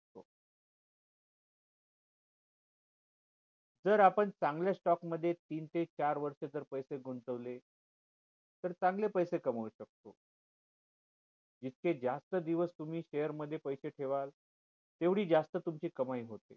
जर आपण चांगले stock मध्ये तीन ते चार वर्ष जर पैसे गुंतवले तर चांगले पैसे कमावू शकतो जितके जास्त दिवस तुम्ही share मध्ये पैसे ठेवाल तेवढी जास्त तुमची कमाई होते